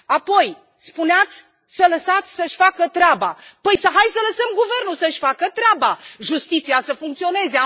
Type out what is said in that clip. Apoi spuneați să lăsați să își facă treaba. Haideți să lăsăm guvernul să și facă treaba, justiția să funcționeze.